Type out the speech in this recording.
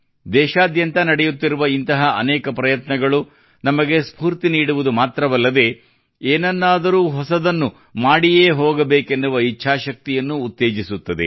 ದೇಶಾದ್ಯಂತ ನಡೆಯುತ್ತಿರುವ ಇಂತಹ ಅನೇಕ ಪ್ರಯತ್ನಗಳು ನಮಗೆ ಸ್ಫೂರ್ತಿ ನೀಡುವುದು ಮಾತ್ರವಲ್ಲದೇ ಏನನ್ನಾದರೂ ಹೊಸದನ್ನು ಮಾಡಿಯೇ ಹೋಗಬೇಕೆನ್ನುವ ಇಚ್ಛಾಶಕ್ತಿಯನ್ನೂ ಉತ್ತೇಜಿಸುತ್ತದೆ